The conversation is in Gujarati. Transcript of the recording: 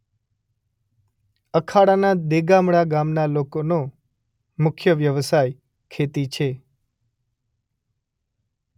અખાડાના દેગામડા ગામના લોકોનો મુખ્ય વ્યવસાય ખેતી છે.